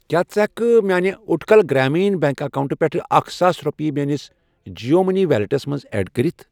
کیٛاہ ژٕ ہٮ۪کہٕ کھہ میانہِ اُٹکَل گرٛامیٖن بیٚنٛک اکاونٹہٕ پٮ۪ٹھٕ اکھَ ساس رۄپیہٕ میٲنِس جِیو مٔنی ویلیٹَس منٛز ایڈ کٔرِتھ؟